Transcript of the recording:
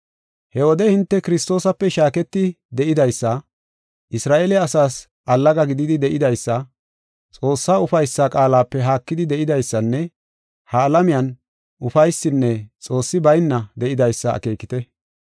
He wode hinte Kiristoosape shaaketi de7idaysa, Isra7eele asaas allaga gididi de7idaysa, Xoossaa ufaysa qaalape haakidi de7idaysanne ha alamiyan ufaysinne Xoossi bayna de7idaysa akeekite.